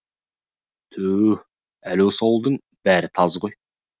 тү әлі осы ауылдың бәрі таз ғой